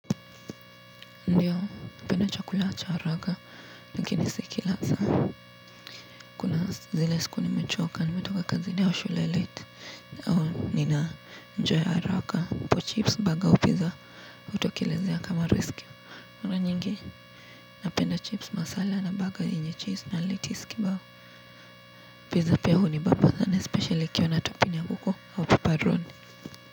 Ndiyo napenda chakula cha haraka lakini sikila saa kuna zile siku nimechoka nimetoka kazini au shule late au nina njaa ya haraka hapo chips baga au pizza utokelezea kama risk mara nyingi napenda chips masala na baga yenye cheese na lettuce kibao pizza pia hunibamba sana especially ikiwa na topping ya huko ya pepperoni.